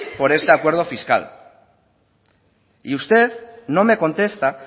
por este acuerdo fiscal y usted no me contesta